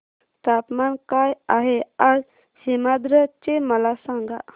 तापमान काय आहे आज सीमांध्र चे मला सांगा